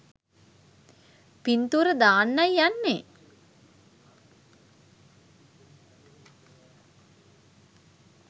පින්තූර දාන්නයි යන්නේ.